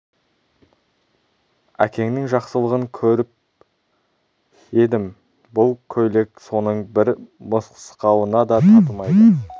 әкеңнің жақсылығын көп көріп едім бұл көйлек соның бір мысқалына да татымайды